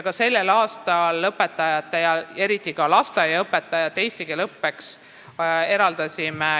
Ka sellel aastal eraldasime raha õpetajate ja eriti lasteaiaõpetajate eesti keele õppeks.